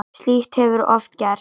Slíkt hefur oft gerst.